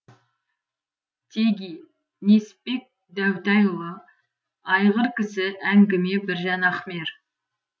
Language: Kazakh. теги несіпбек дәутайұлы айғыр кісі әңгіме біржан ахмер